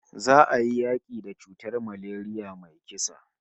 Za'a yi yaki da cutar malaria mai kisa